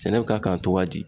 Sɛnɛ bɛ ka kan togoya di?